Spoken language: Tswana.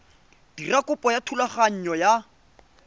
dira kopo ya thulaganyo ya